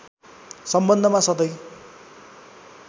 सम्बन्धमा सधैं